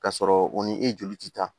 Ka sɔrɔ u ni e joli ti taa